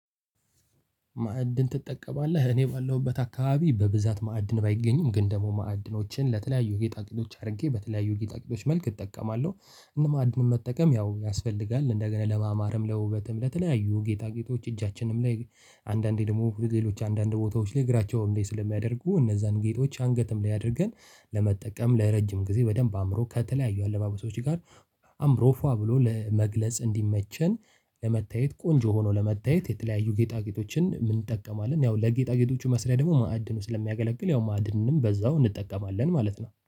ማዕድን ትጠቀማለህ እኔ ባለሁበት አካባቢ በብዛት ማዕድን ባይገኝም ግን ደግሞ ማዕድኖችን ለተለያዩ ጌጣጌጣጌጦች አድርጌ በተለያዩ ጌጣጌጦች መልክ እጠቀማለሁ። እንደውም ማዕድን መጠቀም ያው ያስፈልጋል እንደገና ለማማርም ለውበትም ለተለያዩ ጌጣ ጌጦች እጃችንም ላይ አንዳንዴ ደግሞ ሌሎች አንዳንድ ቦታዎች ላይ እግራቸውን ላይ ስለሚያደርጉ እነዛን ጌጦች አንገትም ላይ አድርገን ለመጠቀም ለረጅም ጊዜ በደንብ አምሮ ከተለያዩ አለባበሶች ጋር አምሮ ፏ ብሎ ለመግለጽ እንዲመቸን ለመታየት ቆንጆ ሆኖ ለመታየት የተለያዩ ጌጣጌጦችን እንጠቀማለን። ያው ለጌጣጌጦቹ መስሪያ ደግሞ ማዕድኑ ስለሚያገለግል ያው ማዕድኑንም በዛው እንጠቀማለን ማለት ነው